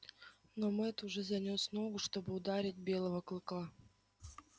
но мэтт уже занёс ногу чтобы ударить белого клыка